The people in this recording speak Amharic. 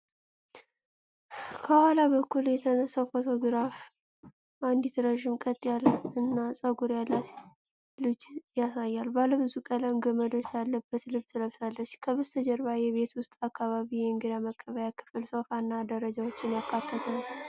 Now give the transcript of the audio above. ከኋላ በኩል የተነሳው ፎቶግራፍ አንዲት ረዥም፣ ቀጥ ያለ እና ጥቁር ፀጉር ያላት ልጅ ያሳያል። ባለብዙ ቀለም ገመዶች ያለበት ልብስ ለብሳለች። የበስተጀርባው የቤት ውስጥ አካባቢ የእንግዳ መቀበያ ክፍል ሶፋ እና ደረጃዎችን ያካተተ ነው።